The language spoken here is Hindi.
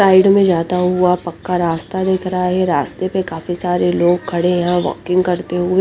साइड में जाता हुआ पक्का रास्ता दिख रहा है रस्ते पे काफी सरे लोग खड़े है वोल्किंग करते हुए --